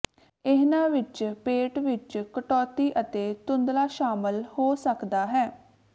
ਇਹਨਾਂ ਵਿੱਚ ਪੇਟ ਵਿਚ ਕਟੌਤੀ ਅਤੇ ਧੁੰਧਲਾ ਸ਼ਾਮਲ ਹੋ ਸਕਦਾ ਹੈ